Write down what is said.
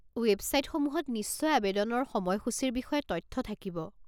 ৱেবছাইটসমূহত নিশ্চয় আৱেদনৰ সময়সূচিৰ বিষয়ে তথ্য থাকিব।